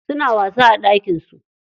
Suna wasa a ɗakin su.